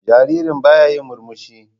Jaririn baya yin murmushi.